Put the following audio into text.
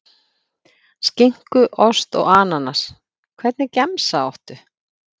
Skinku, ost og ananas Hvernig gemsa áttu?